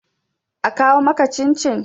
a kawo maka cin-cin!